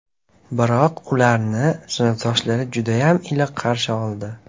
Biroq, ularni sinfdoshlari judayam iliq qarshi oldi.